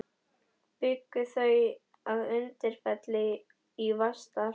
Bjuggu þau að Undirfelli í Vatnsdal.